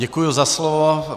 Děkuji za slovo.